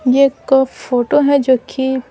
ये एक फोटो है जो कि--